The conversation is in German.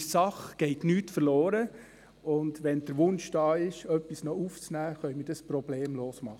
In der Sache geht nicht verloren, und wenn der Wunsch da ist, noch etwas aufzunehmen, können wir dies problemlos tun.